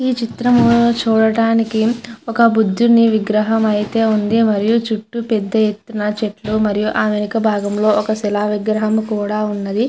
ఈ చిత్రం చూడడానికి ఒక బుద్దుని విగ్రహం అయతె వుంది మరియు చుట్టూ పెద్ద ఎత్తున చెట్లు మరియు ఆ వెనుక భాగంలో శిలా విగ్రహము కూడా వున్నది.